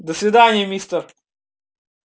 до свидания мистер